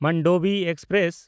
Mandovi express